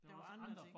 Der var andre ting